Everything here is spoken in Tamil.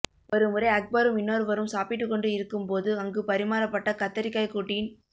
ஒருமுறை அக்பரும் இன்னொருவரும் சாப்பிட்டுக்கொண்டு இருக்கும்போது அங்கு பரிமாறப்பட்ட கத்தரிக்காய் கூட்டின்